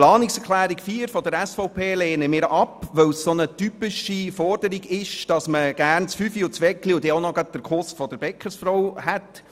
Die Planungserklärung 4 der SVP lehnen wir ab, weil es sich um eine typische Forderung handelt, wonach man gerne den Fünfer, die Semmel und auch noch den Kuss der Bäckerin haben möchte.